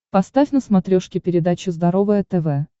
поставь на смотрешке передачу здоровое тв